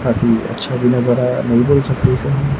काफी अच्छा भी नजर आया से हूं।